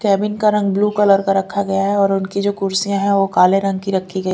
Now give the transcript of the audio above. cabin का रंग blue colour का रखा गया है और उनकी जो कुर्सियां है वो काले रंग की रखी गई--